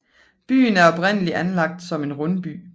Byen er oprindeligt anlagt som en rundby